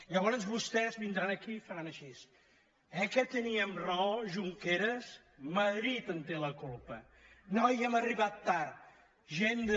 llavors vostès vindran aquí i faran així eh que teníem raó junqueras madrid en té la culpa noi hem arribat tard gent de